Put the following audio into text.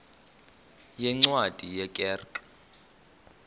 yeencwadi ye kerk